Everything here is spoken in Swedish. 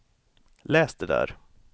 läs det där